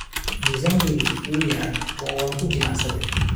Miisaankaygu wuu yaraa oo waan ku jimicsaday.